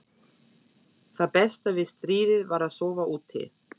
Það besta við stríðið var að sofa úti.